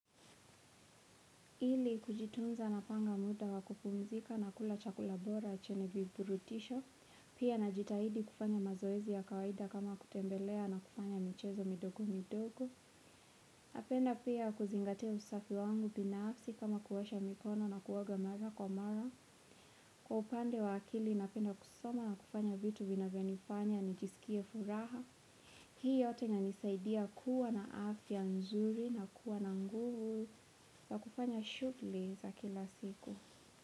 Ili kujitunza na panga muda wakupumzika na kula chakulabora chenye vipurutisho, pia na jitahidi kufanya mazoezi ya kawaida kama kutembelea na kufanya michezo midogo midogo. Napenda pia kuzingatia usafi wangu pina afsi kama kuwosha mikono na kuwoga mara kwa mara. Kwa upande wa akili na penda kusoma na kufanya vitu vina vionifanya ni jisikie furaha. Hii yote inisaidia kuwa na afya nzuri na kuwa na nguvu sa kufanya shukuli za kila siku.